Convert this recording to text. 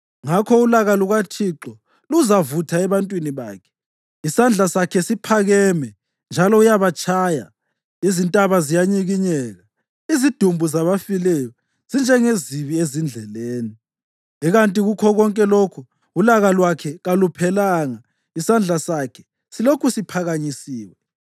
Ngakho ulaka lukaThixo luzavutha ebantwini bakhe; isandla sakhe siphakeme njalo uyabatshaya. Izintaba ziyanyikinyeka, izidumbu zabafileyo zinjengezibi ezindleleni. Ikanti kukho konke lokhu ulaka lwakhe kaluphelanga, isandla sakhe silokhu siphakanyisiwe.